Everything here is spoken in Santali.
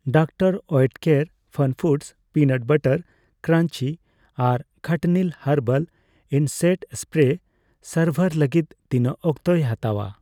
ᱰᱚᱠᱛᱟᱨ ᱳᱭᱮᱴᱠᱮᱨ ᱯᱷᱟᱱᱯᱷᱩᱰᱚᱥ ᱚᱤᱱᱟᱴ ᱵᱟᱨᱟᱴ ᱠᱨᱟᱧᱡᱤ ᱟᱨ ᱠᱷᱟᱴᱱᱤᱞ ᱦᱟᱨᱵᱟᱞ ᱤᱮᱥᱮᱠᱴ ᱥᱯᱨᱮ ᱥᱟᱨᱵᱷᱟᱨ ᱞᱟᱹᱜᱤᱛ ᱛᱤᱱᱟᱹᱜ ᱚᱠᱛᱮᱭ ᱦᱟᱛᱟᱣᱟ ?